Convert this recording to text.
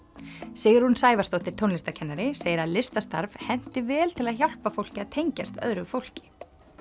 Sigrún Sævarsdóttir tónlistarkennari segir að listastarf henti vel til að hjálpa fólki að tengjast öðru fólki